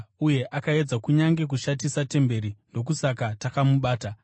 uye akaedza kunyange kushatisa temberi; ndokusaka takamubata.